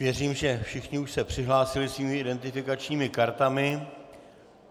Věřím, že všichni už se přihlásili svými identifikačními kartami.